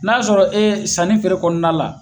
N'a y'a sɔrɔ e sanni feere kɔnɔna la